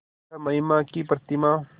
वह महिमा की प्रतिमा